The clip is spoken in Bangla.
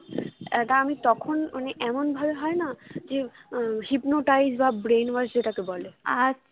একা আমি তখন মানে এমন ভাবে হয়না যে আহ hypnotize বা brain wash যে টাকে বলে